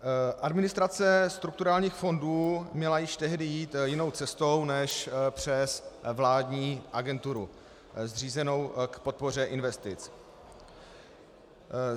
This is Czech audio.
Administrace strukturálních fondů měla již tehdy jít jinou cestou než přes vládní agenturu zřízenou k podpoře investic.